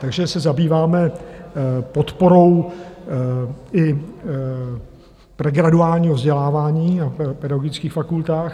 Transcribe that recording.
Takže se zabýváme podporou i pregraduálního vzdělávání na pedagogických fakultách.